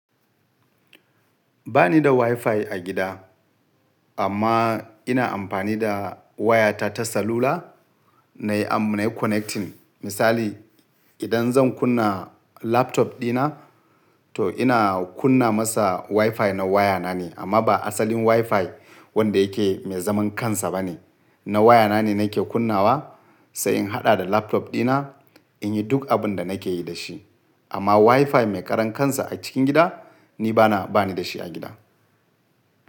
Ba ni da WiFi a gida, amma ina amfani da wayata ta salula na yi am nayiconnecting. Misali, idan zan kunna laptop dina, to ina kunna masa WiFi na wayana ne, amma ba asalin WiFi wanda yake mai zaman kansa ba ne. Na wayana ne nake kunnawa, sai in haɗa da laptop dina in yi duk abin da nake yi da shi. Amma WiFi mai ƙaran kansa a cikin gida, ni bana, ba ni da shi a gida.